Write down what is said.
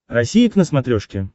россия к на смотрешке